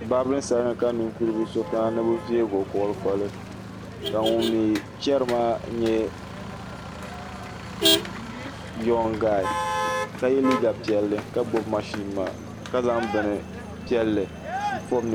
Baabirin salun ni ka ninkuri so kana ni bi veego koli koli ka ŋun mii chɛri maa nyɛ yon gaay ka yɛ liiga piɛlli ka gbubi mashin maa ka zaŋ bin piɛlli n pobi ninkurigu maa